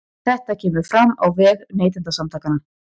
Þetta kemur fram á vef Neytendasamtakanna